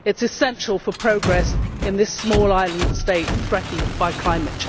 It is essential for progress in this small island state threatened by climate change.